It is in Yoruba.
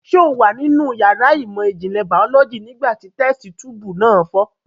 Ṣé o wà nínú yàrá ìmọ̀ ìjìnlẹ̀ bàólọ́jì nígbà tí tẹ́sítí tuùbù náà fọ́?